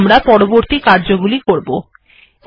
এরপর আমরা পরবর্তী কার্যগুলি করব